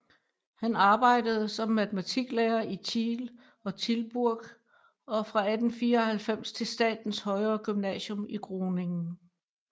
Han arbejdede som matematiklærer i Tiel og Tilburg og fra 1894 til statens højere gymnasium i Groningen